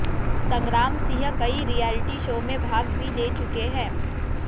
संग्राम सिंह कई reality show में भाग भी ले चुके हैं